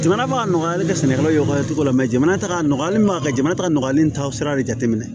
Jamana b'a nɔgɔya hali ka sɛnɛkɛlaw ka cogo la mɛ jamana t'a nɔgɔya hali maa ka jamana ta nɔgɔyalen ta sira de jateminɛ